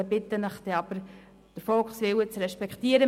Ich bitte Sie dann aber, den Volkswillen zu respektieren.